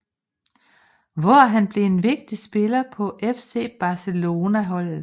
Hvor han blev en vigtig spiller på FC Barcelona holdet